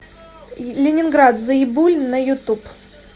ленинград заебуль на ютуб